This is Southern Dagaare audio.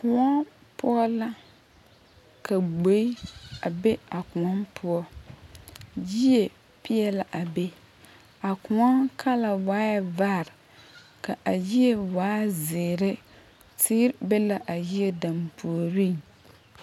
Kõɔ poɔ la ka gboe a be a kõɔ poɔ yie peɛle la a be a kõɔ kala waa bad ka a yie waa zeere teere be la a yie dampuoriŋ.